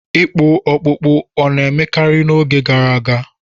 Ịkpụ ọkpụkpụ ọ̀ na-emekarị n'oge gara aga?